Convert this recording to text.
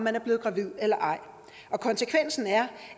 er blevet gravide eller ej konsekvensen er